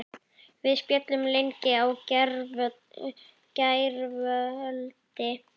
Við spjölluðum lengi í gærkvöldi.